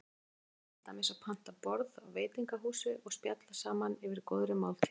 Hvernig væri til dæmis að panta borð á veitingahúsi og spjalla saman yfir góðri máltíð?